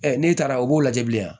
n'e taara u b'o lajɛ bilenya